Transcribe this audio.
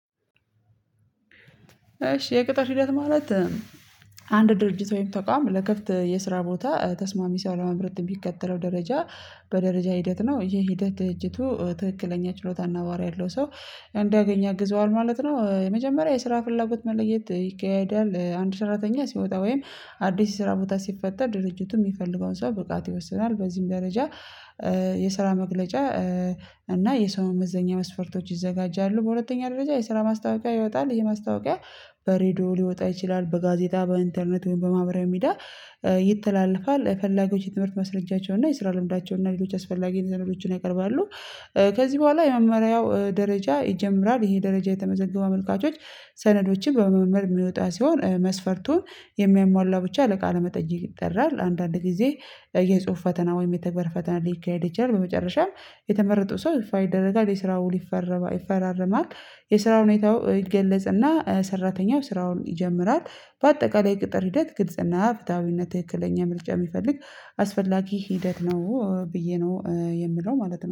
እሺ የቅጥር ሂደት ማለት አንድ ድርጅት ወይም ተቋም ለክፍት የስራ ቦታ ተስማሚ ሳለመምረጥ የሚከተለው ደረጃ በደረጃ ሂደት ነው። ይሄ ሂደት ድርጅቱ ትክክለኛ ችሎታና ባህሪ ያለው ሰው እንዳገኝ አግዘዋል ማለት ነው። የመጀመሪያ የስራ ፍላጎት መለየት ይካሄዳል አንድ ሰራተኛ ሲወጣ ወይም አዲስ ስራ ቦታ ሲፈጠር ድርጅቱ የሚፈልገውን ሰው ብቃት ይወስናል በዚህም ደረጃ የስራ መግለጫ እና የሰውን መመዘኛ መስፈርቶች ይዘጋጃሉ። በሁለተኛ ደረጃ የስራ ማስታወቂያ ይወጣል ይሄ ማስታወቂያ በሬዲዮ ሊወጣ ይችላል በጋዜጣ በኢንተርኔት ወይም በማህበራዊ ሚዲያ ይተላለፋል የፈላጊዎች የትምህርት መስረጃቸውና የስራ ልምዳቸውና ሌሎች አስፈላጊ ሰነዶችን ያቀርባሉ። ከዚህ በኋላ የመመሪያው ደረጃ ይጀምራል ይሄ ደረጃ የተመዘገቡ አመልካቾች ሰነዶችን በመመር የሚወጣ ሲሆን መስፈርቱን የሚያሟላው ብቻ ለቃለ መጠጅ ይጠራል። አንዳንድ ጊዜ የጽሁፍ ፈተና ወይም የተግባር ፈተና ሊካሄድ ይችላል። በመጨረሻም የተመረጠው ሰው ይፋ ይደረጋል የስራው ሊፈራርም ይፈራርማል የስራው ሁኔታው ይገለጽና ሰራተኛው ስራውን ይጀምራል። በአጠቃላይ ቅጥር ሂደት ግልጽና ፍትሃዊነት ትክክለኛ ምርጫ የሚፈልግ አስፈላጊ ሂደት ነው ብዬ ነው የምለው ማለት ነው